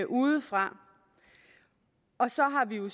udefra og så har vi jo